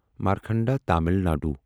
Markanda Tamil Nadu